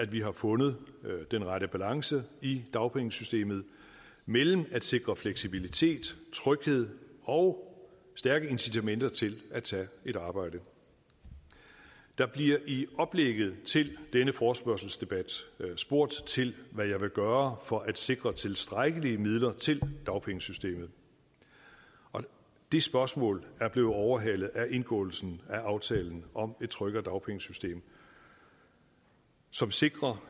vi har fundet den rette balance i dagpengesystemet mellem at sikre fleksibilitet tryghed og stærke incitamenter til at tage et arbejde der bliver i oplægget til denne forespørgselsdebat spurgt til hvad jeg vil gøre for at sikre tilstrækkelige midler til dagpengesystemet og det spørgsmål er blevet overhalet af indgåelsen af aftalen om et tryggere dagpengesystem som sikrer